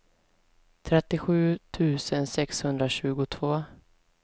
trettiosju tusen sexhundratjugotvå